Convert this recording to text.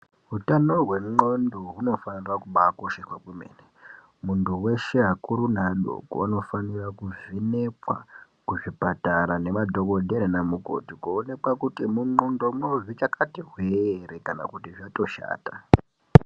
Utano hwenxlondo hunofanire kubaa akosheswa kwemene, munhu weshe akuru neadoko anofanira kuvhenekwa kuzvipatara nemadhokodheya nemukoti kuonekwa kuti munxlondomwo zvichakati hwe ere kana kuti zvatoshata.